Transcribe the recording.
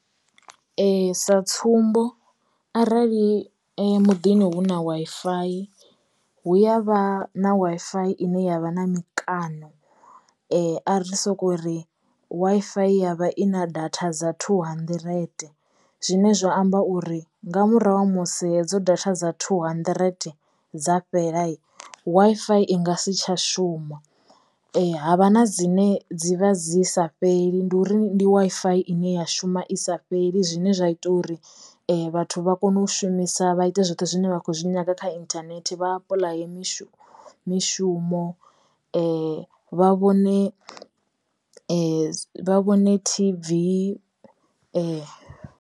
Sa tsumbo arali muḓini hu na Wi-Fi hu ya vha na Wi-Fi ine yavha na mikano ari sokori Wi-Fi yavha ina datha dza two hundred zwine zwa amba uri nga murahu ha musi hedzo data dza two hundred dza fhelai Wi-Fi i nga si tsha shuma. Havha na dzine dzi vha dzi sa fheli ndi uri ndi Wi-Fi ine ya shuma i sa fheli zwine zwa ita uri vhathu vha kono u shumisa vha ite zwoṱhe zwine vha khou zwi nyanga kha inthanethe vha apuḽaya mishumo mishumo vha vhone vha vhone TV .